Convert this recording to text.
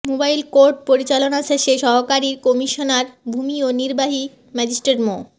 mobile court পরিচালনা শেষে সহকারী কমিশনার ভুমি ও নির্বাহী ম্যাজিস্ট্রেট মো